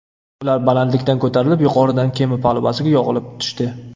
Ular balandlikka ko‘tarilib, yuqoridan kema palubasiga yog‘ilib tushdi.